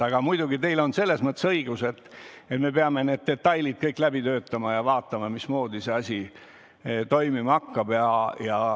Aga muidugi teil on õigus, et me peame detailid kõik läbi töötama ja vaatama, mismoodi see asi toimima hakkab.